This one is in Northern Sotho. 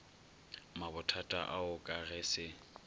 mabothata ao ka ge se